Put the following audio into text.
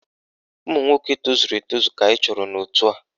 Ụmụnwoke tozuru etozu ka anyị chọrọ n'òtù a